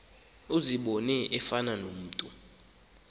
uzibone efana nomntu